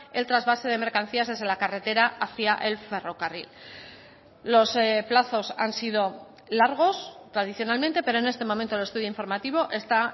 el trasvase de mercancías desde la carretera hacia el ferrocarril los plazos han sido largos tradicionalmente pero en este momento el estudio informativo está